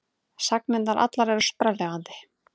Sagnirnar allar eru sprelllifandi.